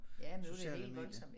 Sociale medier